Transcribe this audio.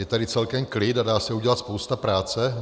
Je tady celkem klid a dá se udělat spousta práce.